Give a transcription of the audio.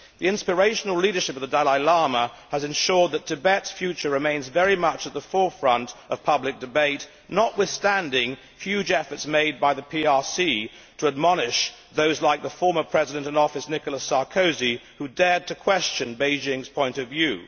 The inspirational leadership of the Dalai Lama has ensured that Tibet's future remains very much at the forefront of public debate, notwithstanding the huge efforts made by the PRC to admonish those like the former President in Office of the Council, Nicolas Sarkozy, who dared to question Beijing's point of view.